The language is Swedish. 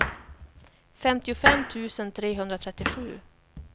femtiofem tusen trehundratrettiosju